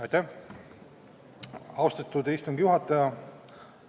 Aitäh, austatud istungi juhataja!